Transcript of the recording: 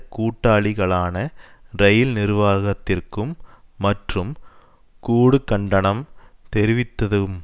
கூட்டாளிகளான இரயில் நிர்வாகத்திற்கும் மற்றும் கூடு கண்டனம் தெரிவித்ததும்